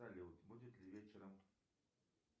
салют будет ли вечером